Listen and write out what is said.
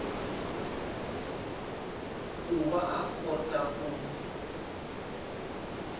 ku va a kota ku